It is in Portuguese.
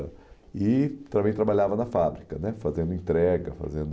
E também trabalhava na fábrica né, fazendo entrega, fazendo...